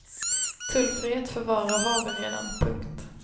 Tullfrihet för varor har vi redan. punkt